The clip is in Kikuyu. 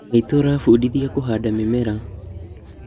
Maitũ arafundithia kũhanda mĩmea